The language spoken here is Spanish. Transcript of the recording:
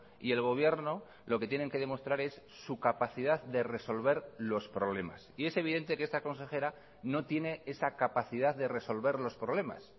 y el gobierno lo que tienen que demostrar es su capacidad de resolver los problemas y es evidente que esta consejera no tiene esa capacidad de resolver los problemas